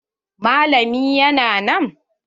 Malamin ya na nan?